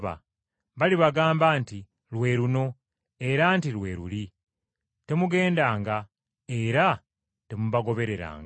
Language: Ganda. Balibagamba nti lwe luno era nti lwe luli temugendanga era temubagobereranga.